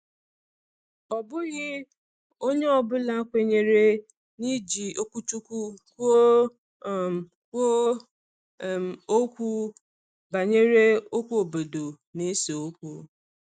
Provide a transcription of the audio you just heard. Ọ bụghị onye ọ bụla kwenyere n’iji okwuchukwu kwuo um kwuo um okwu banyere okwu obodo na-ese okwu.